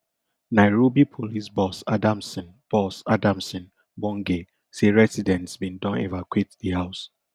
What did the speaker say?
nairobi police boss adamson boss adamson bungei say residents bin don evacuate di house